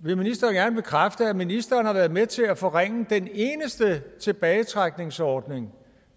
vil ministeren gerne bekræfte at ministeren har været med til at forringe den eneste tilbagetrækningsordning